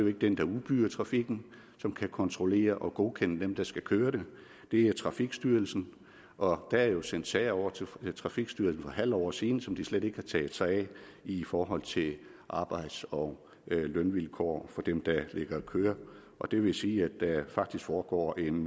ikke den der udbyder trafikken som kan kontrollere og godkende dem der skal køre det er trafikstyrelsen og der er jo sendt sager over til trafikstyrelsen for et halvt år siden som de slet ikke har taget sig af i forhold til arbejds og lønvilkår for dem der ligger og kører og det vil sige at der faktisk foregår en